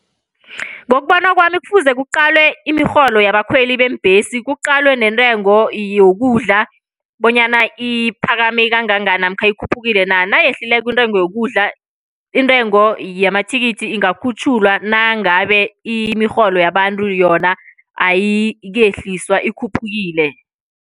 Ngokubona kwami kufuze kuqalwe imirholo yabakhweli beembhesi. Kuqalwe neentengo yokudla bonyana iphakame kangangani, namkha ikhuphukile na. Nayehlileko intengo yokudla, intengo yamathikithi ingakhutjhulwa nangabe imirholo yabantu yona ayikehliswa ikhuphukile.